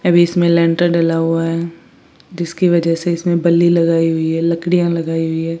अभी इसमें लेंटर डला हुआ हैं जिसकी वजह से इसमें बल्ली लगाई हुई है लकड़ियाँ लगाई हुई हैं।